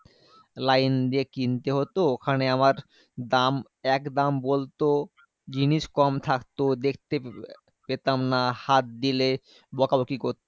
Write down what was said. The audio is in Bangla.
Line দিয়ে কিনতে হতো। ওখানে আবার দাম এক দাম বলতো। জিনিস কম থাকতো। দেখতে পেতাম না। হাত দিলে বকাবকি করতো।